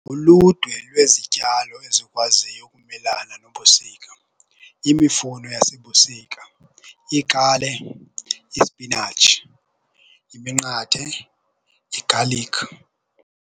Uludwe lwezityalo ezikwaziyo ukumelana nobusika imifuno yasebusika, iikale, ispinatshi, iminqathe, igalikhi.